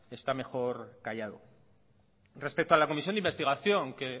está mejor callado respeto a la comisión de investigación que